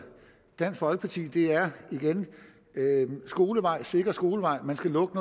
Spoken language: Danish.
dansk folkeparti er igen skolevejen en sikker skolevej man skal lukke